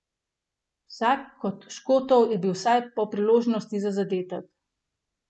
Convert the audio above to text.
Vsak kot Škotov je bil vsaj polpriložnost za zadetek.